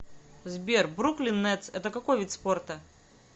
сбер бруклин нетс это какой вид спорта